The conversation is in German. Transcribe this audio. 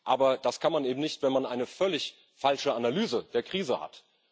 Aber das kann man eben nicht, wenn man eine völlig falsche Analyse der Krise hat.